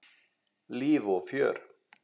Líf og fjör.